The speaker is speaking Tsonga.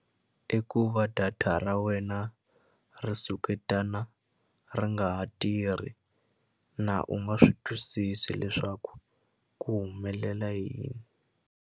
I ku va data ra wena ri suketana ri nga ha tirhi na u nga swi twisisi leswaku ku humelela yini.